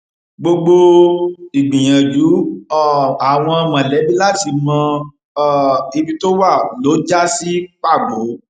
gbogbo ìgbìyànjú um àwọn mọlẹbí láti mọ um ibi tó wà lọ já sí pàbó